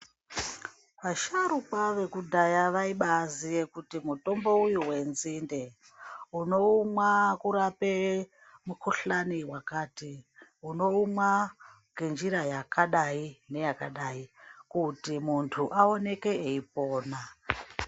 Asharukwa vekudhaya vaibaziye kuti mutombo uyu wenzinde unoumwa kurape mukhuhlani yakati unoumwa ngenjira yakadai neyakadai kuti muntu aonekw eipona.